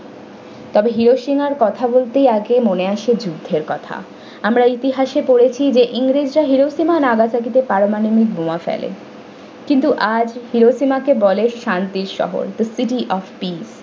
তবে hiroshima এর কথা বলতেই আগে মনে আসে যুদ্ধের কথা আমরা ইতিহাসে পড়েছি যে ইংরেজরা hiroshima nagasaki তে পারমাণবিক বোমা ফেলে কিন্তু আজ hiroshima কে বলে শান্তির শহর the city of peace ।